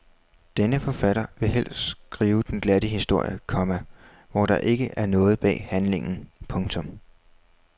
Denne forfatter vil helst skrive den glatte historie, komma hvor der ikke er noget bag handlingen. punktum